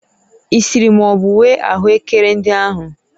Ị siri ma ọ bụ ghee ahụekere ndị ahụ?